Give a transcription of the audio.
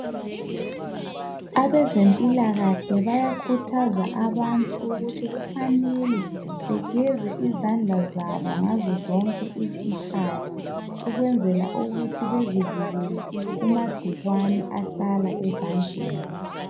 Abezempilakahle bayakhuthaza abantu ukuthi kufanele begeze izandla zabo ngazozonke izikhathi ukwenzela ukuthi bezivikele kuma gcikwane ahlala ezandleni.